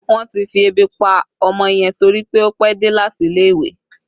Wọn ti fi ebi pa ọmọ yẹn torí pé ó pẹ́ dé láti ilé ìwé